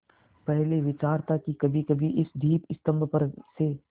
पहले विचार था कि कभीकभी इस दीपस्तंभ पर से